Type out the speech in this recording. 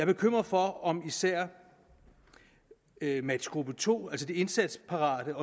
bekymret for om især matchgruppe to altså de indsatsparate